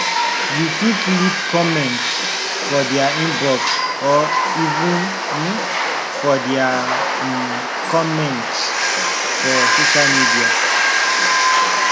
you fit leave comment for their inbox or even um for their um comment for social media